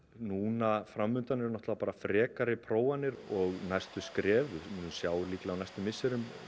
núna fram undan eru bara frekari prófanir og næstu skref við munum sjá líklega á næstu misserum